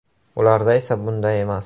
Ularda esa bunday emas.